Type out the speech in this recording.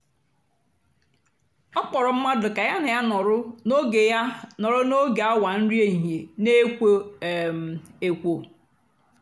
ọ kpọ̀rọ̀ mmadụ́ kà ya na ya nọ̀rọ̀ n’ógè ya nọ̀rọ̀ n’ógè àwa nri èhìhiè na-èkwó um èkwò.